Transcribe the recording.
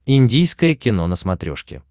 индийское кино на смотрешке